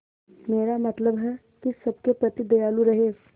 मेरा मतलब है कि सबके प्रति दयालु रहें